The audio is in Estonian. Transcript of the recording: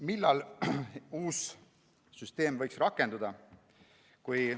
Millal uus süsteem võiks rakenduda?